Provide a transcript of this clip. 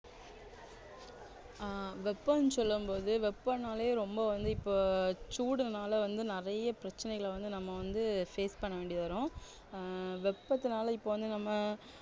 ஆஹ் வெப்பம்னு சொல்லும் போது வெப்பன்னாலே ரொம்ப வந்து இப்போ சூடுனால வந்து நிறைய பிரச்சனைகளை வந்து நம்ம வந்து face பண்ணவேண்டி வரும் ஆஹ் வெப்பத்தினால இப்போ வந்து நம்ம